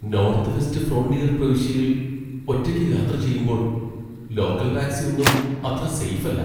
North West Frontier പ്രവിശ്യയിൽ ഒറ്റയ്ക്ക് യാത്ര ചെയ്യുമ്പോൾ ലോക്കൽ ടാക്സി ഒന്നും അത്ര സെയ്ഫ് അല്ല.